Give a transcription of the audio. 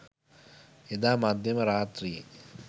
එදා මධ්‍යම රාත්‍රියේ